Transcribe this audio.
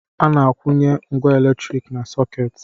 A na-akwụnye ngwá elektrik na sọkeeti.